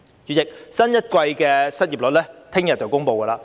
主席，新一季的失業率將於明天公布。